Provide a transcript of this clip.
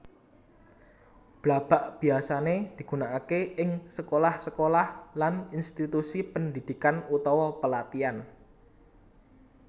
Blabag biyasané digunakaké ing sekolah sekolah lan institusi pendhidhikan utawa pelatihan